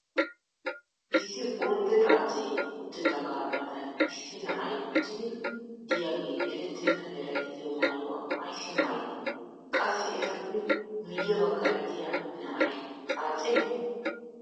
issi ordde xaacee uttidaaga matan issi na"ay uttidi diyaagee eretenna meray diyo maayuwa ayssi maayidee? qassi etappe miye bagaara diya na"ay xaacee?